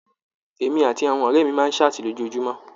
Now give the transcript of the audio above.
Èmi àti àwọn ọrẹ mí máa saati lójoojúmọ́.